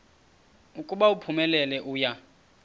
ukuba uphumelele uya